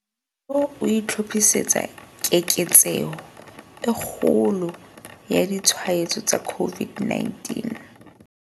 Mmuso o itlhophisetsa keketseho e kgolo ya ditshwaetso tsa COVID-19.